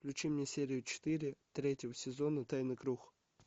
включи мне серию четыре третьего сезона тайный круг